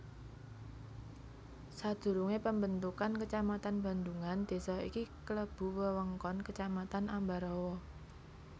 Sadurungé pambentukan kecamatan Bandhungan désa iki klebu wewengkon Kecamatan Ambarawa